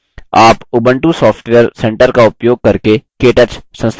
आप Ubuntu software centre का इस्तेमाल करके केटच संस्थापन कर सकते हैं